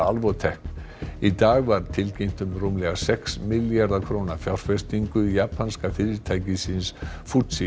Alvotech í dag var tilkynnt um rúmlega sex milljarða króna fjárfestingu japanska fyrirtækisins